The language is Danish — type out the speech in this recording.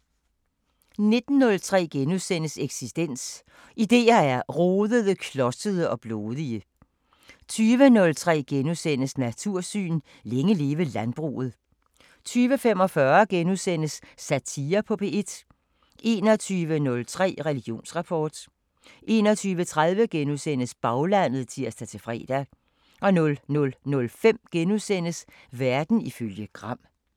19:03: Eksistens: Idéer er rodede, klodsede og blodige * 20:03: Natursyn: Længe leve landbruget * 20:45: Satire på P1 * 21:03: Religionsrapport 21:30: Baglandet *(tir-fre) 00:05: Verden ifølge Gram *